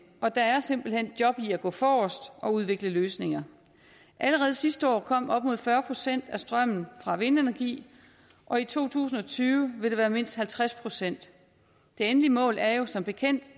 og der er simpelt hen job i at gå forrest og udvikle løsninger allerede sidste år kom op imod fyrre procent af strømmen fra vindenergi og i to tusind og tyve vil det være mindst halvtreds procent det endelige mål er jo som bekendt